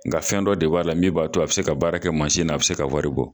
N nga fɛn dɔ de b'a la min b'a to a bɛ se ka baara kɛ mansi na a bɛ se ka wari bɔ.